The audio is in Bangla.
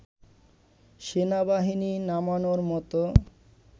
সেনাবাহিনী নামানোর মতো